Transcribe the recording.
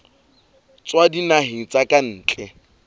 tswa dinaheng tsa ka ntle